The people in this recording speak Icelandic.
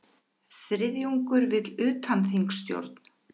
Þriðjungur vill utanþingsstjórn